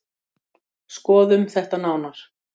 Skoðum þetta nánar.